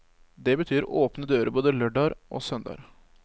Det betyr åpne dører både lørdager og søndager.